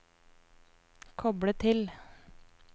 koble til